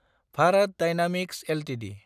Bharat dynamics Ltd